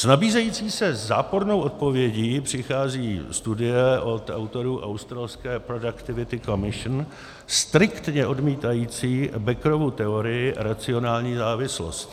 S nabízející se zápornou odpovědí přichází studie od autorů australské Productivity Commission striktně odmítající Beckerovu teorii racionální závislosti.